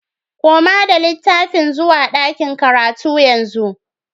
Koma da littafin zuwa ɗakin karatu yanzu